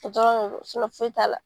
O dɔrɔn de do foyi t'a la.